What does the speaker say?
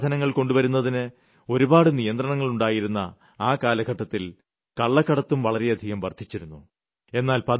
വിദേശസാധനങ്ങൾ കൊണ്ടുവരുന്നതിന് ഒരുപാട് നിയന്ത്രണങ്ങൾ ഉണ്ടായിരുന്ന ആ കാലഘട്ടത്തിൽ കള്ളക്കടത്തും വളരെയധികം വർദ്ധിച്ചിരുന്നു